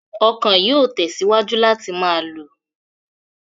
Ọ̀kan yóò tẹ̀síwájú láti máa lù.